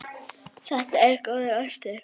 Þetta er góður ostur.